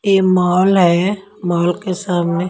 यह मॉल है मॉल के सामने--